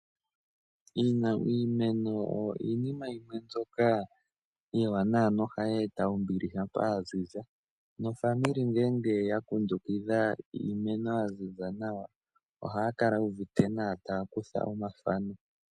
Iimeno oyo iinima yimwe mbyoka iiwanawa nohayi eta ombili shampa ya ziza. Naanegumbo ngele ya kundukitha iimeno ya ziza nawa ohaya kala yu uvite nawa taya kutha omathano.